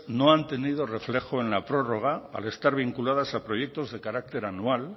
no han tenido reflejo en la prórroga al estar vinculadas a proyectos de carácter anual